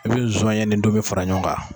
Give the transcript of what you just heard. I bɛ sɔnɲɛ ni tomi fara ɲɔgɔn kan.